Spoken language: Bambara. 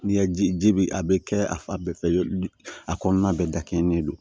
N'i ye ji bi a bɛ kɛ a fa bɛɛ fɛ a kɔnɔna bɛɛ dakɛnɛ don